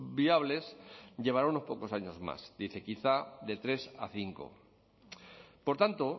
viables llevará unos pocos años más dice quizá de tres a cinco por tanto